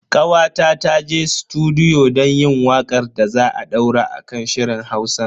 Kawata ta je sutudiyo don yin wakar da za a daura a kan shirin Hausan.